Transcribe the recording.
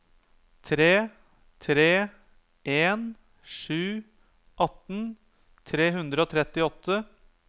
tre tre en sju atten tre hundre og trettiåtte